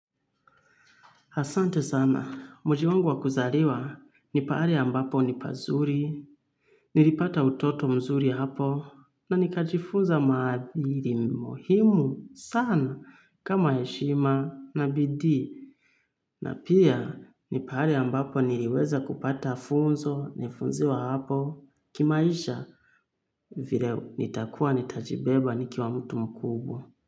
Asante sana, mji wangu wa kuzaliwa, ni pahali ambapo nipazuri, nilipata utoto mzuri hapo, na nikajifunza maadhili muhimu sana kama heshima na bidii. Na pia, nipahali ambapo niliweza kupata funzo, nilifunziwa hapo, kimaisha vile nitakuwa nitajibeba nikiwa mtu mkubwa.